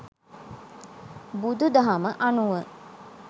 බුදු දහම අනුව